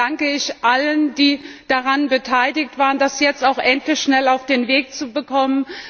Deshalb danke ich allen, die daran beteiligt waren, das jetzt auch endlich schnell auf den Weg zu bekommen.